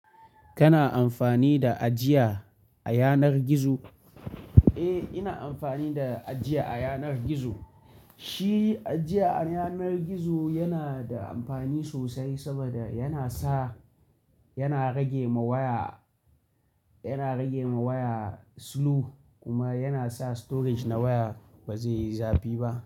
Kana amfani da ajiya a yanar gizo? Eh, ina amfani da ajiya a yanar gizo. Shi ajiya a yanar gizo yana da amfani sosai saboda yana sa yana rage ma waya, yana rage ma waya slow kuma yana sa storage na waya ba zai yi zafi ba.